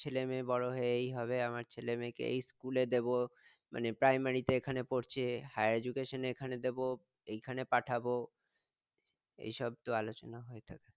আমার ছেলেমেয়ে বড় হয়ে এই হবে আমার ছেলেমেয়েকে এই school এ দেব মানে primary তে এখানে পড়ছে higher education এ এখানে দেব এখানে পাঠাবো এই সব তো আলোচনা হয়ে থাকে